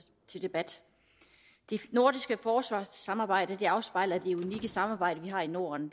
til debat det nordiske forsvarssamarbejde afspejler det unikke samarbejde vi har i norden